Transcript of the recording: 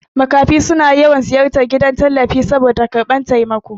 Makafi suna yawan ziyartar gidan tallafi saboda karɓan taimako